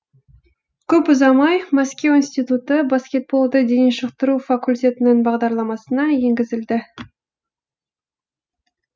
көп ұзамай мәскеу институты баскетболды дене шынықтыру факультетінің бағдарламасына енгізілді